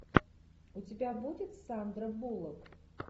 у тебя будет сандра буллок